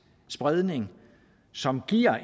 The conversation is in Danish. spredning som giver